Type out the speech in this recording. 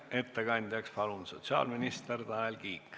Ettekandjaks palun sotsiaalminister Tanel Kiige.